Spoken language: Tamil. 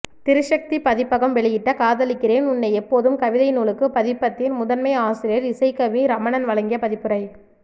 திரிசக்தி பதிப்பகம் வெளியிட்ட காதலிக்கிறேன் உன்னை எப்போதும் கவிதை நூலுக்கு பதிப்பத்தின் முதன்மை ஆசிரியர் இசைக்கவி ரமணன் வழங்கிய பதிப்புரை